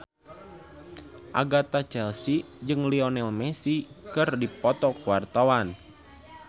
Agatha Chelsea jeung Lionel Messi keur dipoto ku wartawan